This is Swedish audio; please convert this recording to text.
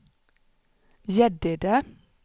Gäddede